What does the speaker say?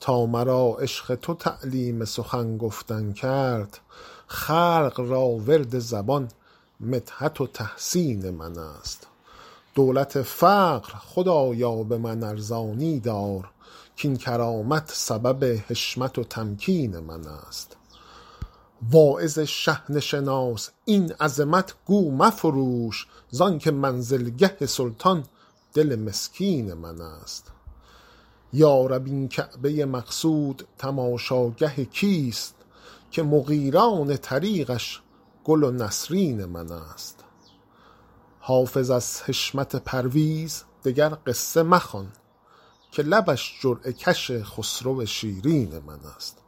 تا مرا عشق تو تعلیم سخن گفتن کرد خلق را ورد زبان مدحت و تحسین من است دولت فقر خدایا به من ارزانی دار کاین کرامت سبب حشمت و تمکین من است واعظ شحنه شناس این عظمت گو مفروش زان که منزلگه سلطان دل مسکین من است یا رب این کعبه ی مقصود تماشاگه کیست که مغیلان طریقش گل و نسرین من است حافظ از حشمت پرویز دگر قصه مخوان که لبش جرعه کش خسرو شیرین من است